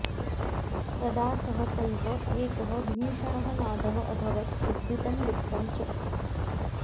तदा सहसैव एकः भीषणः नादः अभवत् विद्युतं लुप्तम् च